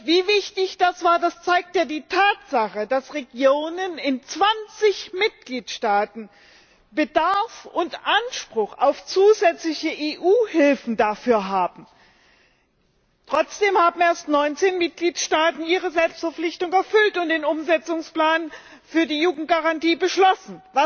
Wie wichtig das war, zeigt ja die Tatsache, dass Regionen in 20Mitgliedstaaten Bedarf und Anspruch auf zusätzliche EU Hilfen dafür haben. Trotzdem haben erst 19Mitgliedstaaten ihre Selbstverpflichtung erfüllt und den Umsetzungsplan für die Jugendgarantie beschlossen.